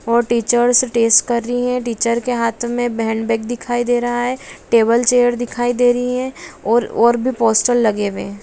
वो teachers days कर रही हैं| टीचर के हाथ में हैंडबैग दिखाई दे रहा है टेबल चेयर दिखाई दे रही हैं और और भी पोस्टर लगे हुए हैं।